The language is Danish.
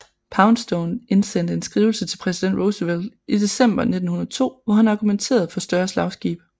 Poundstone indsendte en skrivelse til Præsident Roosevelt i december 1902 hvor han argumenterede for større slagskibe